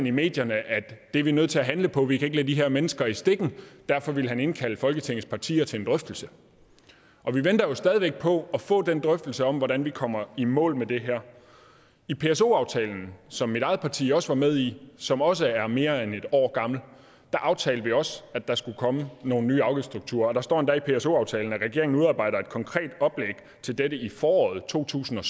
i medierne det er vi nødt til at handle på vi kan ikke lade de her mennesker i stikken derfor ville han indkalde folketingets partier til en drøftelse og vi venter jo stadig væk på at få den drøftelse om hvordan vi kommer i mål med det her i pso aftalen som mit eget parti også var med i som også er mere end et år gammel aftalte vi også at der skulle komme nogle nye afgiftsstrukturer der står endda i pso aftalen at regeringen udarbejder et konkret oplæg til dette i foråret to tusind og